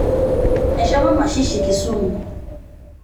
eshomo mashishi Kisumu